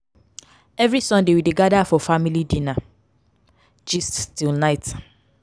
every sunday we dey gather for family dinner gist till night.